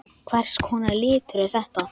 Hvers konar litur er þetta?